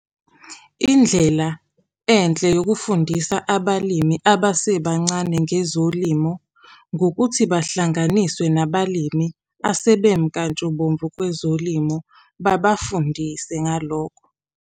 Indlela enhle yokufundisa abalimi abasebancane ngezolimo, ngokuthi bahlanganiswe nabalimi asebemnkantshubovu kwezolimo, babafundise ngalokho.